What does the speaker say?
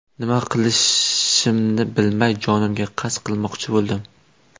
Nima qilishimni bilmay, jonimga qasd qilmoqchi bo‘ldim.